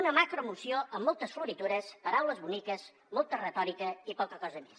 una macromoció amb moltes floritures paraules boniques molta retòrica i poca cosa més